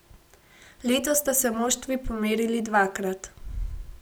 Letos sta se moštvi pomerili dvakrat.